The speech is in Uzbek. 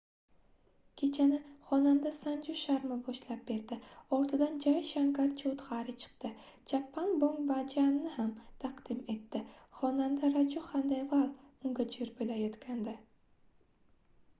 kechani xonanda sanju sharma boshlab berdi ortidan jay shankar choudxari chiqdi chhappan bhog bhajanʼni ham taqdim etdi xonanda raju xandelval unga joʻr boʻlayotgandi